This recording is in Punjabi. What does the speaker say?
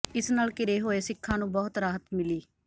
ਇਸ ਨਾਲ ਘਿਰੇ ਹੋਏ ਸਿੱਖਾਂ ਨੂੰ ਬਹੁਤ ਰਾਹਤ ਮਿਲੀ